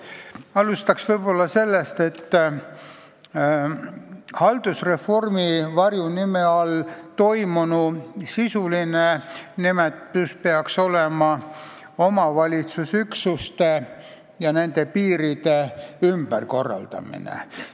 Alustaks võib-olla sellest, et haldusreformi varjunime all toimunu sisuline nimetus peaks olema omavalitsusüksuste ja nende piiride ümberkorraldamine.